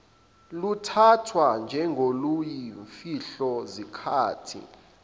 luthathwa njengoluyimfihlo zikhathi